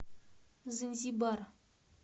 занзибар